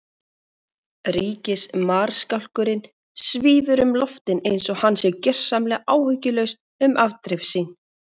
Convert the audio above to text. Ríkismarskálkurinn svífur um loftin einsog hann sé gjörsamlega áhyggjulaus um afdrif sín.